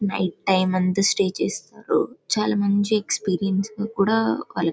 Night time అంత stay చేస్తారు. చాలా మంచి ఎక్స్పీరియన్స్ తో కూడా కల్ --